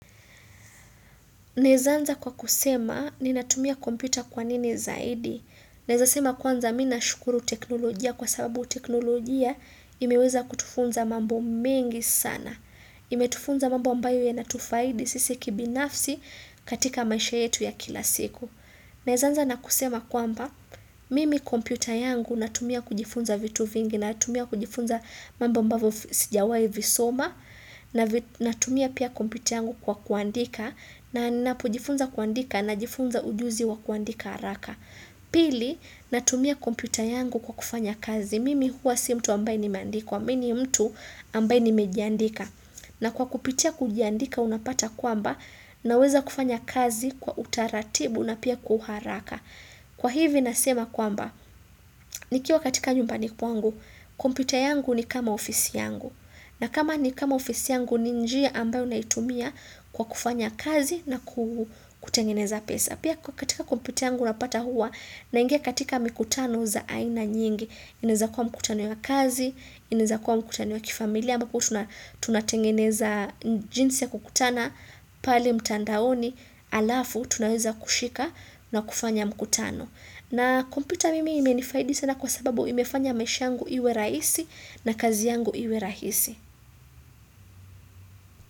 Naez anza kwa kusema ni natumia komputa kwanini zaidi. Nezasema kwanza minashukuru teknolojia kwa sababu teknolojia imeweza kutufunza mambo mingi sana. Imetufunza mambo ambayo ya natufaidi sisi kibinafsi katika maisha yetu ya kila siku. Neaza anza nakusema kwamba, mimi kompita yangu natumia kujifunza vitu vingi, natumia kujifunza mambo ambavo sijawai visoma, na tumia pia kompyuta yangu kwa kuandika Napuojifunza kuandika na jifunza ujuzi wa kuandika haraka Pili, na tumia kompyuta yangu kwa kufanya kazi Mimi huwa si mtu ambaye ni mendika Mimi mtu ambaye ni mejandika na kwa kupitia kujiandika unapata kwamba na weza kufanya kazi kwa utaratibu na pia kuharaka Kwa hivi nasema kwamba Nikiwa katika nyumbani kwangu kompyuta yangu ni kama ofisi yangu na kama ni kama ofisi yangu ninjia ambayo unaitumia kwa kufanya kazi na kutengeneza pesa. Pia katika kompyuta yangu unapata huwa na ingia katika mikutano za aina nyingi. Iniza kuwa mkutano ya kazi, iniza kuwa mkutano ya kifamilia, amba kuhu tunatengeneza jinsi ya kukutana pali mtandaoni alafu tunaweza kushika na kufanya mkutano. Na kompyuta mimi imenifaidisi na kwa sababu imefanya nmefanya iwe rahisi na kazi yangu iwe rahisi.